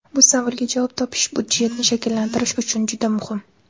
Bu savolga javob topish budjetni shakllantirish uchun juda muhim.